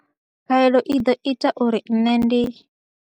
Khaelo i ḓo ita uri nṋe ndi.